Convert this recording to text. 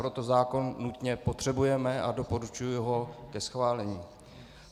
Proto zákon nutně potřebujeme a doporučuji ho ke schválení.